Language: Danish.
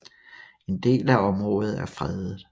En del af området er fredet